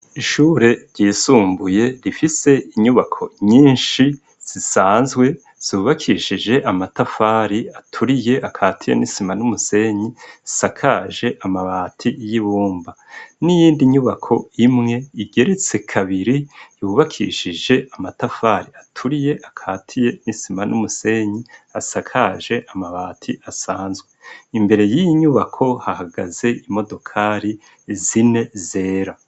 Ishure ryisumbuye rifise inyubako nyinshi zisanzwe zubakishije amatafari aturiye akatiye n'isima n'umusenyi, zisakaje amabati y'ibumba. N'iyindi nyubako imwe igeretse kabiri yubakishije amatafari aturiye akatiye n'isima n'umusenyi asakaje amabati asanzwe. Imbere y'iyi nyubako hahagaze imodokari zine zera.